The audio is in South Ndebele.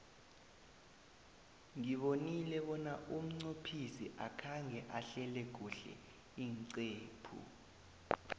ngibonile bona umqophisi akhange ahlele kuhle iinqephu